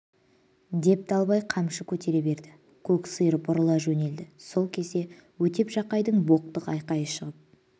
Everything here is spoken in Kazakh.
деп далбай қамшы көтере берді көк сиыр бұрыла жөнелді сол кезде өтеп жақайдың боқтық айқайы шығып